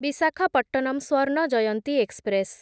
Visakhapatnam Swarna Jayanti express